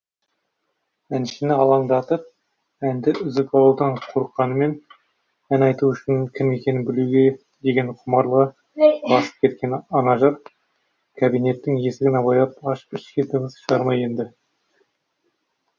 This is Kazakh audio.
әншіні алаңдатып әнді үзіп алудан қорыққанымен ән айтушының кім екенін білуге деген құмарлығы басып кеткен анажар кабинеттің есігін абайлап ашып ішке дыбыс шығармай енді